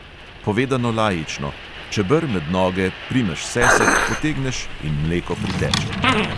Povedano laično: čeber med noge, primeš sesek, potegneš in mleko priteče.